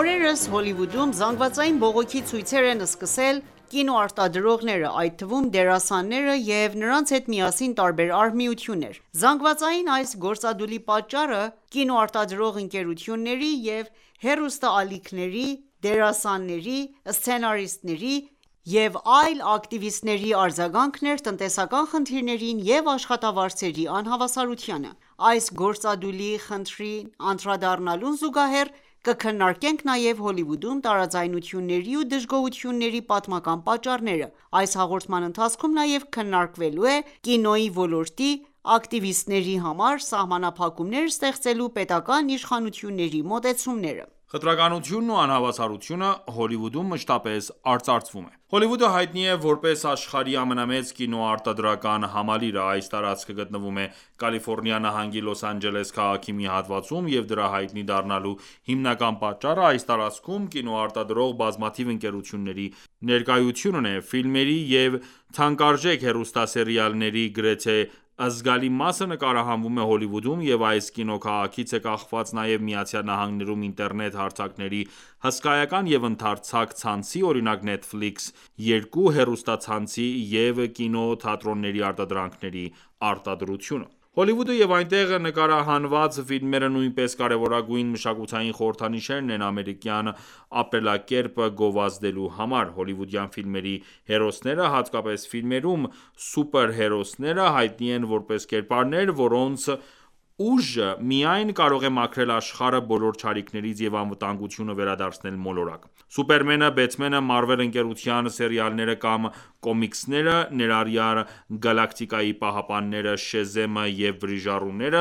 Օրերս Հոլիվուդում զանգվածային բողոքի ցույցեր են սկսել կինոարտադրողները, այդ թվում՝ դերասանները և նրանց հետ միասին տարբեր արհմիություններ։ Զանգվածային այս գործադուլի պատճառը կինոարտադրող ընկերությունների ու հեռուստաալիքների, դերասանների, սցենարիստների և այլ ակտիվիստների արձագանքն էր տնտեսական խնդիրներին և աշխատավարձերի անհավասարությանը։ Այս գործադուլի խնդրին անդրադառնալուն զուգահեռ կքննարկենք նաեւ Հոլիվուդում տարաձայնությունների ու դժգոհությունների պատմական պատճառները։ Այս հաղորդման ընթացքում նաև քննակվելու ենք կինոյի ոլորտի ակտիվիստների համար սահմանափակումներ ստեղծելու պետական իշխանությունների մոտեցումները: Խտրականությունն ու անհավասարությունը, Հոլիվուդում մշտապես արծարվծում է Հոլիվուդը հայտնի է, որպես աշխարհի ամենամեծ կինոարտադրական համալիրը: Այս տարածքը գտնվում է Կալիֆորնիա նահանգի Լոս Անջելես քաղաքի մի հատվածում, և դրա հայտնի դառնալու հիմնական պատճառը ՝այս տարածքում, կինոարտադրող բազմաթիվ ընկերությունների ներկայությունն է։ Ֆիլմերի և թանկարժեք հեռուստասերիալների գրեթե զգալի մասը նկարահանվում է Հոլիվուդում և այս կինոքաղաքից է կախված նաև ԱՄՆ-ում, ինտերնետ հարթակների հսկայական և ընդարձակ ցանցի (օրինակ՝ «Netflix» 2 հեռուստացանցի) և կինոթատրոնների արտադրանքի արտադրությունը ։ Հոլիվուդը և այնտեղ նկարահանված ֆիլմերը նույնպես կարևորագույն մշակութային խորհրդանիշներն են ամերիկյան ապրելակերպը գովազդելու համար: Հոլիվուդյան ֆիլմերի հերոսները, հատկապես ֆիլմերում սուպերհերոսները, հայտնի են որպես կերպարներ, որոնց ուժը միայն կարող է մաքրել աշխարհը բոլոր չարիքներից և անվտանգությունը վերադարձնել մոլորակ: Սուպերմենը, Բեթմենը, Marvel ընկերության սերիալները կամ «կոմիքսները», ներառյալ «Գալակտիկայի պահապանները», «Շեզեմը» և «Վրիժառուները»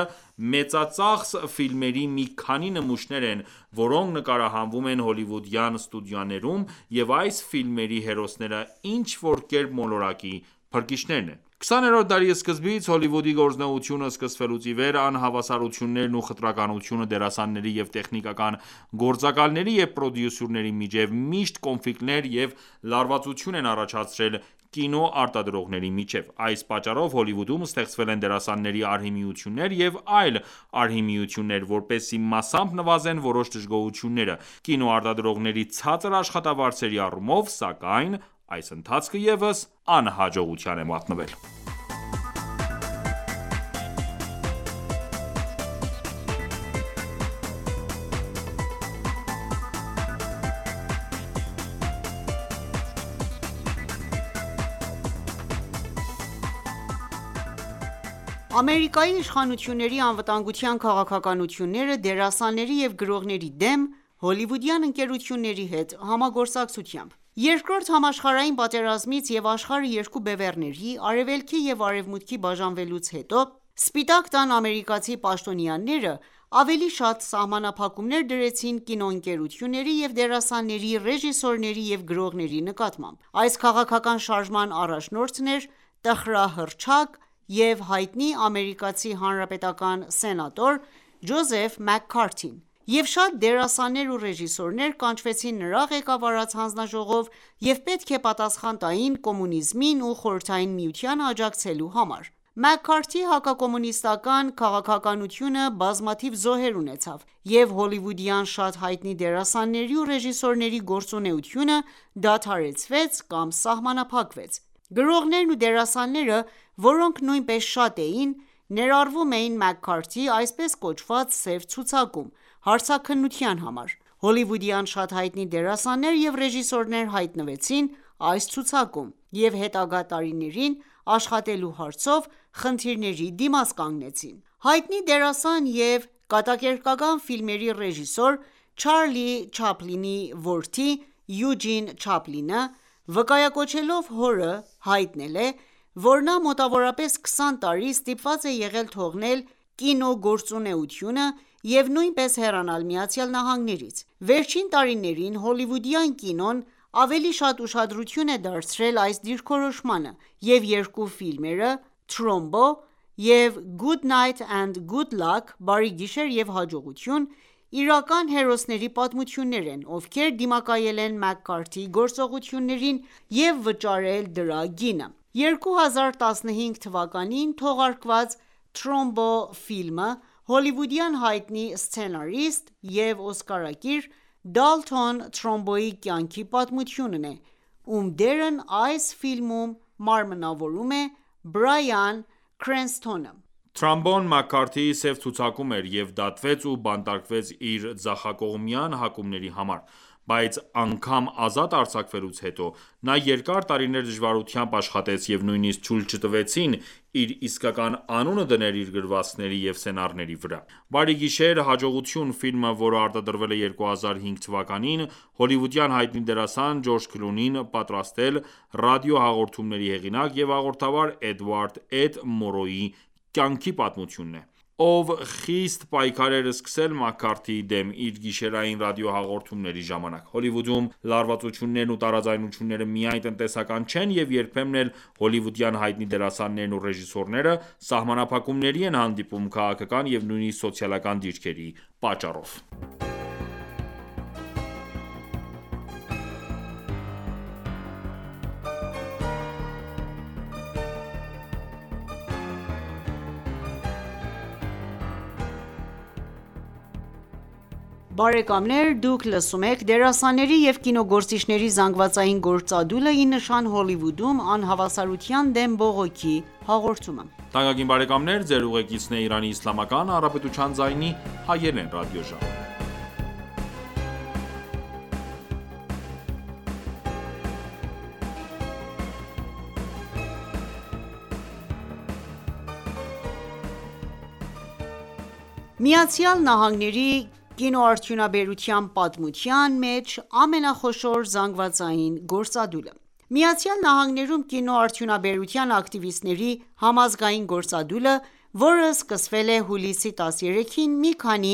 մեծածախս ֆիլմերի մի քանի նմուշներն են, որոնք նկարահանվում են հոլիվուդյան ստուդիաներում և այս ֆիլմերի հերոսները ինչ-որ կերպ մոլորակի փրկիչներն են։ 20-րդ դարի սկզբից ,Հոլիվուդի գործունեությունը սկսվելուց իվեր, անհավասարություններն ու խտրականությունը դերասանների և տեխնիկական գործակալների և պրոդյուսերների միջև միշտ կոնֆլիկտներ և լարվածություն են առաջացրել կինոարտադրողների միջև: Այս պատճառով Հոլիվուդում ստեղծվել են դերասանների արհմիություններ և այլ արհմիություններ, որպեսզի մասամբ նվազեն որոշ դժգոհություններ, կինոարտադրողների ցածր աշխատավարձերի առումով, սակայն այդ ընթացքը ևս անհաջողության է մատնվել: Ամերիկայի իշխանությունների անվտանգության քաղաքականությունները դերասանների և գրողների դեմ՝ հոլիվուդյան ընկերությունների հետ համագործակցությամբ Երկրորդ համաշխարհային պատերազմից և աշխարհը երկու բևեռների՝ Արևելքի և Արևմուտքի բաժանվելուց հետո, Սպիտակ տան ամերիկացի պաշտոնյաները ավելի շատ սահմանափակումներ դրեցին կինոընկերությունների և դերասանների, ռեժիսորների և գրողների նկատմամբ:Այս քաղաքական շարժման առաջնորդն էր տխրահռչակ և հայտնի ամերիկացի հանրապետական սենատոր «Ջոզեֆ Մաքքարթին», և շատ դերասաններ ու ռեժիսորներ կանչվեցին նրա ղեկավարած հանձնաժողով և պետք է պատասխան տային կոմունիզմին ու Խորհրդային Միությանը աջակցելու համար։ Մաքքարթիի հակակոմունիստական քաղաքականությունը բազմաթիվ զոհեր ունեցավ, և հոլիվուդյան շատ հայտնի դերասանների ու ռեժիսորների գործունեությունը դադարեցվեց կամ սահմանափակվեց։ Գրողներն ու դերասանները, որոնք նույնպես շատ էին, ներառվում էին Մաքքարթիի այսպես կոչված «սև ցուցակում»՝ հարցաքննության համար։ Հոլիվուդյան շատ հայտնի դերասաններ և ռեժիսորներ հայտնվեցին այս ցուցակում և հետագա տարիներին աշխատելու հարցով խնդիրների դիմաց կանցնեցին: Հայտնի դերասան և կատակերգական ֆիլմերի ռեժիսոր «Չարլի Չապլինի» որդին՝ «Յուջին Չապլինը», վկայակոչելով հորը, հայտնել է, որ նա մոտավորապես 20 տարի ստիպված է եղել թողնել կինոգործունեությունը և նույնպես հեռանալ ԱՄՆ-ից։ Վերջին տարիներին հոլիվուդյան կինոն ավելի շատ ուշադրություն է դարձրել այս դիրքորոշմանը, և երկու ֆիլմերը՝ «Trumbo» և «Good Night and Good Luck»(Բարի գիշեր և հաջողություն), իրական հերոսների պատմություններ են, ովքեր դիմակայել են Մաքքարթիի գործողություններին և վճարել դրա գինը։2015 թվականին թողարկված Trumbo ֆիլմը հոլիվուդյան հայտնի սցենարիստ և օսկարակիր «Դալթոն Թրամբոյի» կյանքի պատմությունն է, ում դերն այս ֆիլմում մարմնավորում է «Բրայան Քրենսթոնը»։ Թրամբոն Մաքքարթիի սև ցուցակում էր և դատվեց ու բանտարկվեց իր ձախակողմյան հակումների համար, բայց անգամ ազատ արձակվելուց հետո նա երկար տարիներ դժվարությամբ աշխատեց և նույնիսկ թույլ չտվեցին իր իսկական անունը դնել իր գրվածքների և սցենարների վրա։«Բարի գիշեր, հաջողություն» ֆիլմը, որը արտադրվել է 2005 թվականին, հոլիվուդյան հայտնի դերասան «Ջորջ Քլունին» պատրաստել՝ ռադիոհաղորդումների հեղինակ և հաղորդավար «Էդվարդ. Էդ. Մորոուի» կյանքի պատմությունն է, ով խիստ պայքար էր սկսել Մաքքարթիի դեմ, իր գիշերային ռադիոհաղորդումների ժամանակ: Հոլիվուդում լարվածություններն ու տարաձայնությունները միայն տնտեսական չեն և երբեմն էլ հոլիվուդյան հայտնի դերասաններն ու ռեժիսորները սահմանափակումների են հանդիպում քաղաքական և նույնիսկ սոցիալական դիրքերի պատճառով։ ԱՄՆ-ի կինոարդյունաբերության պատմության մեջ ամենախոշոր զանգվածային գործադուլը ԱՄՆ-ում, կինոարդյունաբերության ակտիվիստների համազգային գործադուլը, որը սկսվել է հուլիսի 13-ին մի քանի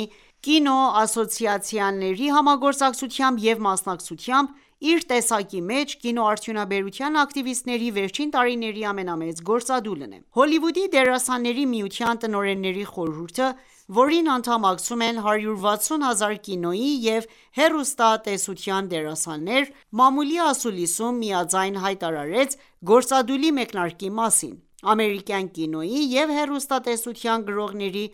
կինոասոցիացիաների համագործակցությամբ և մասնակցությամբ, իր տեսակի մեջ, կինոարդյունաբերության ակտիվիստների վերջին տարիների ամենամեծ գործադուլն է։Հոլիվուդի դերասանների միության տնօրենների խորհուրդը, որին անդամակցում են 160 հազար կինոյի և հեռուստատեսության դերասաններ, մամուլի ասուլիսում միաձայն հայտարարեց գործադուլի մեկնարկի մասին։ Ամերիկյան կինոյի և հեռուստատեսության գրողների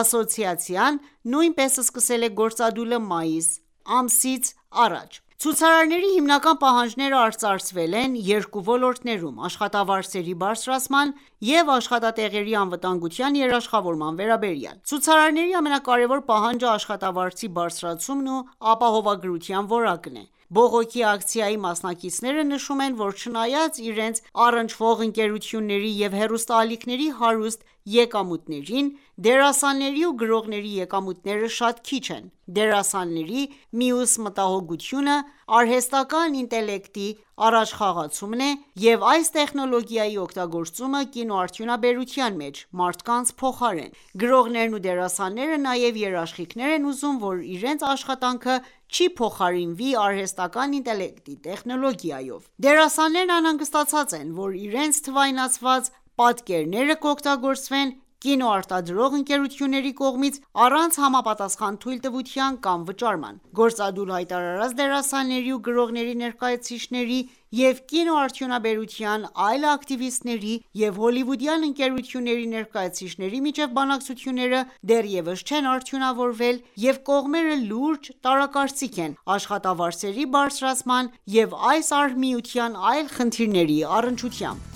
ասոցիացիան նույնպես սկսել է գործադուլը մայիս ամսից առաջ։ Ցուցարարների հիմնական պահանջները արծարծվել են երկու ոլորտներում՝ աշխատավարձերի բարձրացման և աշխատատեղերի անվտանգության երաշխավորման վերաբերյալ։ Ցուցարարների ամենակարեւոր պահանջը աշխատավարձի բարձրացումն ու ապահովագրության որակն է։Բողոքի ակցիայի մասնակիցները նշում են, որ չնայած իրենց առնչվող ընկերությունների ու հեռուստաալիքների հարուստ եկամուտներին, դերասանների ու գրողների եկամուտները շատ քիչ են։ Դերասանների մյուս մտահոգությունը արհեստական ինտելեկտի առաջխաղացումն է և այս տեխնոլոգիայի օգտագործումը կինոարդյունաբերության մեջ մարդկանց փոխարեն: Գրողներն ու դերասանները նաև երաշխիքներ են ուզում, որ իրենց աշխատանքը չի փոխարինվի արհեստական ինտելեկտի տեխնոլոգիայով։ Դերասաններն անհանգստացած են, որ իրենց թվայինացված պատկերները կօգտագործվեն կինոարտադրող ընկերությունների կողմից՝ առանց համապատասխան թույլտվության կամ վճարման։ Գործադուլ հայտարարած դերասանների ու գրողների ներկայացուցիչների և կինոարդյունաբերության այլ ակտիվիստների և հոլիվուդյան ընկերությունների ներկայացուցիչների միջև բանակցությունները դեռևս չեն արդյունավորվել ,և կողմերը լուրջ տարակարծիք են աշխատավարձերի բարձրացման և այս արհմիության այլ խնդիրների առնչությամբ: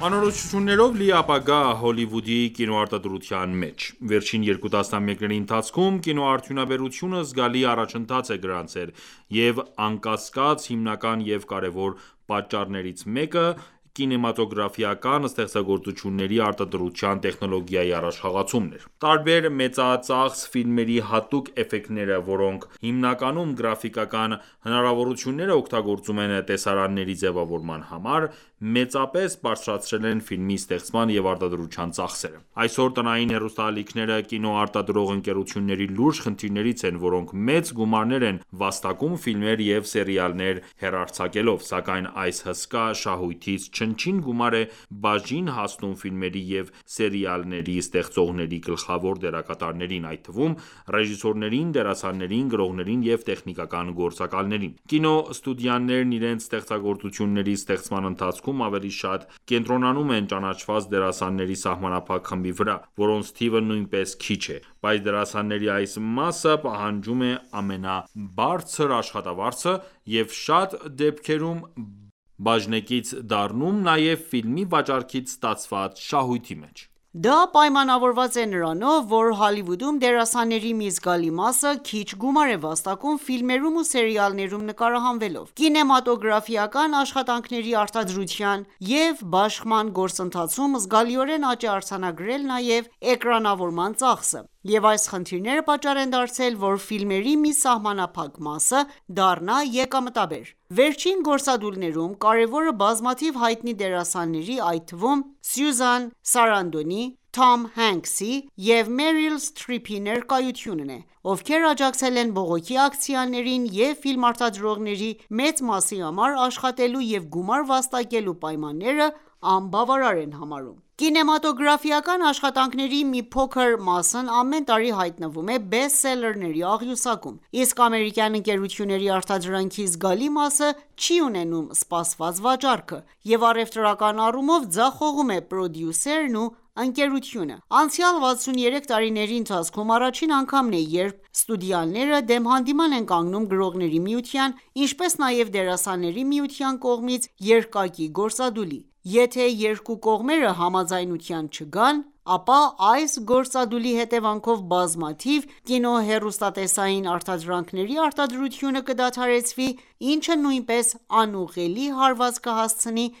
Անորոշություններով լի ապագա՝ Հոլիվուդի կինոարտադրության մեջ Վերջին երկու տասնամյակների ընթացքում կինոարդյունաբերությունը զգալի առաջընթաց է գրանցել, և անկասկած, հիմնական և կարևոր պատճառներից մեկը կինեմատոգրաֆիական ստեղծագործությունների արտադրության տեխնոլոգիայի առաջխաղացումն էր: Տարբեր մեծածախս ֆիլմերի հատուկ էֆեկտները, որոնք հիմնականում գրաֆիկական հնարավորությունները օգտագործում են տեսարանների ձևավորման համար, մեծապես բարձրացրել են ֆիլմի ստեղծման և արտադրության ծախսերը: Այսօր տնային հեռուստաալիքները կինոարտադրող ընկերությունների լուրջ խնդիրներից են, որոնք մեծ գումարներ են վաստակում ֆիլմեր և սերիալներ հեռարձակելով, սակայն այս հսկա շահույթից չնչին գումար է բաժին հասնում ֆիլմերի և սերիալների ստեղծողների գլխավոր դերակատարներին, այդ թվում՝ ռեժիսորներին, դերասաններին, գրողներին և տեխնիկական գործակալներին։ Կինոստուդիաներն իրենց ստեղծագործությունների ստեղծման ընթացքում ավելի շատ կենտրոնանում են ճանաչված դերասանների սահմանափակ խմբի վրա, որոնց թիվը նույնպես քիչ է, բայց դերասանների այս մասը պահանջում է ամենաբարձր աշխատավարձը և շատ դեպքերում բաժնեկից դառնում նաև ֆիլմի վաճառքից ստացված շահույթի մեջ։ Դա պայմանավորված է նրանով, որ Հոլիվուդում դերասանների մի զգալի մասը քիչ գումար է վաստակում ֆիլմերում ու սերիալներում նկարահանվելով։ Կինեմատոգրաֆիական աշխատանքների արտադրության և բաշխման գործընթացում զգալիորեն աճ է արձանագրել նաև էկրանավորման ծախսը, և այս խնդիրները պատճառ են դարձել, որ ֆիլմերի մի սահմանափակ մասը դառնա եկամտաբեր։ Վերջին գործադուլներում կարևորը բազմաթիվ հայտնի դերասանների, այդ թվում՝ «Սյուզան Սարանդոնի»,, «Թոմ Հենքսի» (14) և «Մերիլ Սթրիփի» (15) ներկայությունն է, ովքեր աջակցել են բողոքի ակցիաներին և ֆիլմարտադրողների մեծ մասի համար աշխատելու և գումար վաստակելու պայմանները անբավարար են համարում։ Կինեմատոգրաֆիական աշխատանքների մի փոքր մասն ամեն տարի հայտնվում է բեսթսելերների աղյուսակում, իսկ ամերիկյան ընկերությունների արտադրանքի զգալի մասը չի ունենում սպասված վաճառքը,և առևտրական առումով ձախողում է պրոդյուսերն ու ընկերությունը: Անցյալ 63 տարիների ընթացքում ,առաջին անգամն է, երբ ստուդիաները դեմ հանդիման են կանգնում Գրողների միության, ինչպես նաև Դերասանների միության կողմից երկակի գործադուլի։ Եթե երկու կողմերը համաձայնության չգան, ապա այս գործադուլի հետևանքով բազմաթիվ կինո-հեռուստատեսային արտադրանքների արտադրությունը կկադարեցվի ինչը նույնպես անուղղելի հարված կհասցնի